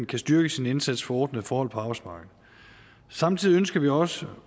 kan styrke sin indsats for ordnede forhold på arbejdsmarkedet samtidig ønsker vi også